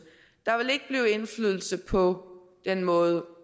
på den måde